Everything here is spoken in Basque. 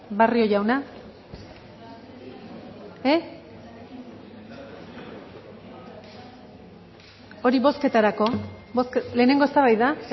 barrio jauna hori bozketarako lehenengo eztabaida